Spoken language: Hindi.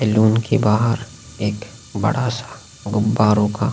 सैलून के बाहर एक बड़ा सा गुब्बारों का --